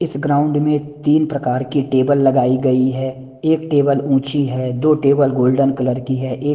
इस ग्राउंड में तीन प्रकार की टेबल लगाई गई है एक टेबल ऊंची है दो टेबल गोल्डन कलर की है एक--